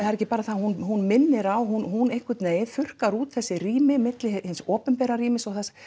er ekki bara það hún hún minnir á hún hún einhvern veginn þurrkar út þessi rými milli hins opinbera rýmis